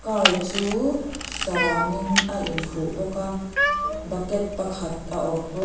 car c hu sarangin a inkhuh bawk a bucket pakhat a awm bawk.